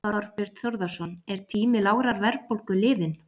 Þorbjörn Þórðarson: Er tími lágrar verðbólgu liðinn?